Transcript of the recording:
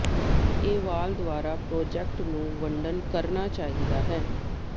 ਇਹ ਵਾਲ ਦੁਆਰਾ ਪ੍ਰੋਜਕਟ ਨੂੰ ਵੰਡਣ ਕਰਨਾ ਚਾਹੀਦਾ ਹੈ